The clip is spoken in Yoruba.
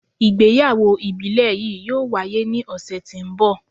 Igbeyawo ibile yii yoo waye ni ọsẹ ti n bọ